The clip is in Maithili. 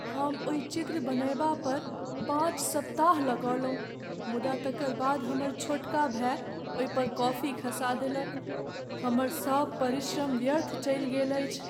हम ओहि चित्र बनयबा पर पाँच सप्ताह लगौलहुँ मुदा तकर बाद हमर छोटका भाय ओहि पर कॉफी खसा देलक। हमर सब परिश्रम व्यर्थ चलि गेल अछि।